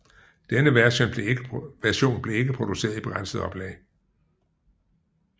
Denne version blev ikke produceret i begrænset oplag